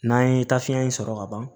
N'an ye taafiɲɛ in sɔrɔ ka ban